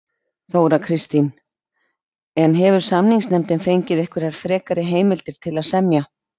Þóra Kristín: En hefur samninganefndin fengið einhverjar frekar heimildir til að semja?